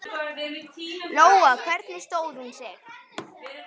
Lóa: Hvernig stóð hún sig?